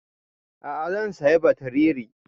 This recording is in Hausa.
A'a zan saya batriri